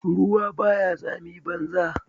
Ruwa ba ya tsami banza.